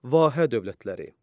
Vahə dövlətləri.